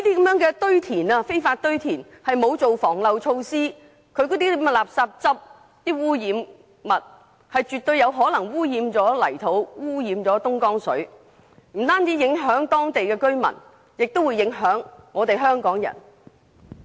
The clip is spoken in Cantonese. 由於這些非法堆填行為沒有做好防漏措施，因此那些垃圾汁、污染物絕對有可能污染泥土和東江水，不但影響當地居民，更會影響香港人。